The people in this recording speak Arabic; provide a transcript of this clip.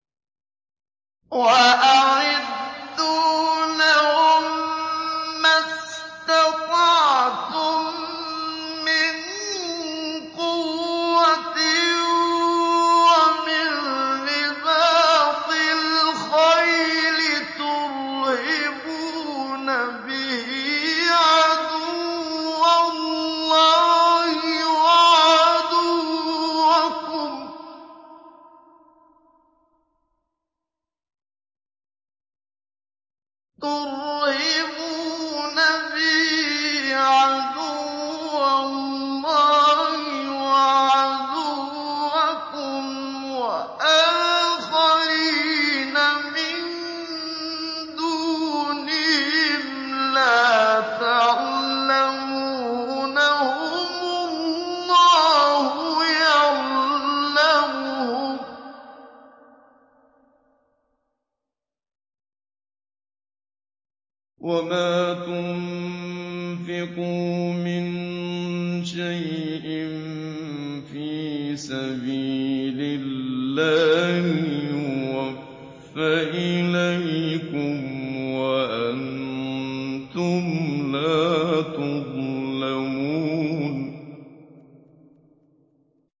وَأَعِدُّوا لَهُم مَّا اسْتَطَعْتُم مِّن قُوَّةٍ وَمِن رِّبَاطِ الْخَيْلِ تُرْهِبُونَ بِهِ عَدُوَّ اللَّهِ وَعَدُوَّكُمْ وَآخَرِينَ مِن دُونِهِمْ لَا تَعْلَمُونَهُمُ اللَّهُ يَعْلَمُهُمْ ۚ وَمَا تُنفِقُوا مِن شَيْءٍ فِي سَبِيلِ اللَّهِ يُوَفَّ إِلَيْكُمْ وَأَنتُمْ لَا تُظْلَمُونَ